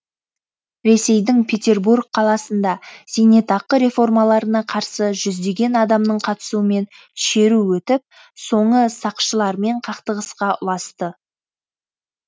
ресейдің петербург қаласында зейнетақы реформаларына қарсы жүздеген адамның қатысуымен шеру өтіп соңы сақшылармен қақтығысқа ұласты